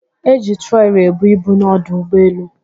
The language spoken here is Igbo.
E ji trọọli ebu ibu n'ọdụ ụgbọelu.